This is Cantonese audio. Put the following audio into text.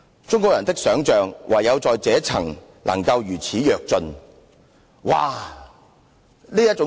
中國人的想象唯在這一層能夠如此躍進。